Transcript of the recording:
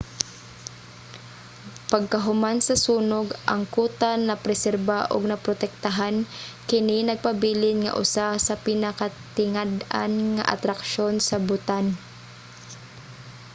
pagkahuman sa sunog ang kuta napreserba ug naprotektahan kini nagpabilin nga usa sa pinakatingad-an nga atraksyon sa bhutan